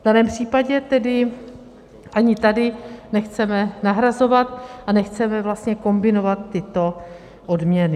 V daném případě tedy ani tady nechceme nahrazovat a nechceme vlastně kombinovat tyto odměny.